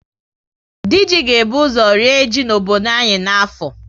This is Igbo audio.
Dị ji ga ebu ọzọ ree ji n'obodo anyị na afọ